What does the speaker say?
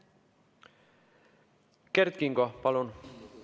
Kert Kingo, palun!